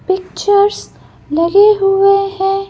Pictures लगे हुए हैं।